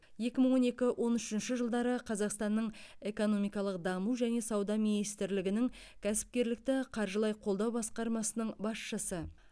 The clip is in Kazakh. екі мың он екі он үшінші жылдары қазақстанның экономикалық даму және сауда министрлігінің кәсіпкерлікті қаржылай қолдау басқармасының басшысы